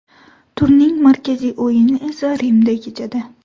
Turning markaziy o‘yini esa Rimda kechadi.